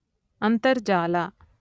ಅಂತರ್ಜಾಲ